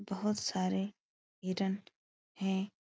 बहोत सारे हिरन हैं।